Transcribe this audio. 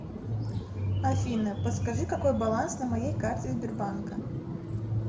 афина подскажи какой баланс на моей карте сбербанка